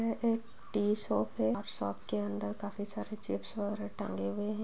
यह एक tea shop है और शॉप के अंदर काफी सारे चिप्स वैगरह टांगे हुए हैं।